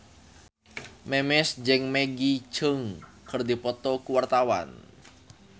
Memes jeung Maggie Cheung keur dipoto ku wartawan